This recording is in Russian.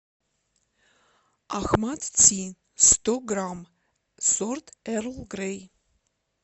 ахмад ти сто грамм сорт эрл грей